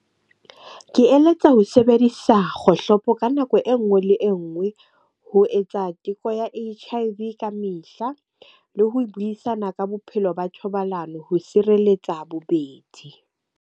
Ke eletsa ho sebedisa kgohlopo ka nako enngwe le enngwe ho etsa teko ya H_I_V ka mehla. Le ho buisana ka bophelo ba thobalano ho sireletsa bobedi.